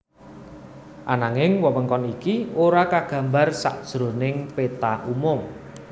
Ananging wewengkon iki ora kagambar sajroning péta umum